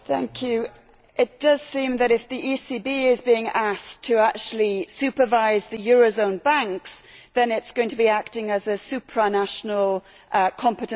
It does seem that, if the ECB is being asked to actually supervise the euro zone banks, then it is going to be acting as a supranational competent authority.